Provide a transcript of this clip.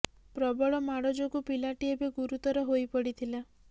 ପ୍ରବଳ ମାଡ଼ ଯୋଗୁ ପିଲାଟି ଏବେ ଗୁରୁତର ହୋଇ ପଡ଼ିଥିଲା